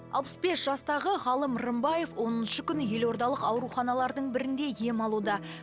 алпыс бес жастағы ғалым рымбаев оныншы күні елордалық ауруханалардың бірінде ем алуда